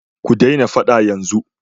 Ku daina faɗa yanzu!